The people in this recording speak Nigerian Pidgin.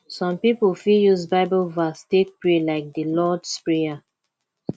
some pipo fit use bible verse take pray like di lords prayer